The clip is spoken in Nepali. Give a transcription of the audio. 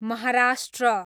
महाराष्ट्र